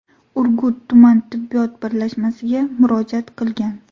Urgut tuman tibbiyot birlashmasiga murojaat qilgan.